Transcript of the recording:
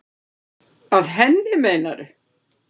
Að henni, meinarðu?